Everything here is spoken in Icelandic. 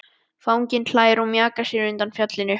Fanginn hlær og mjakar sér undan fjallinu.